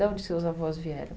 De onde seus avós vieram?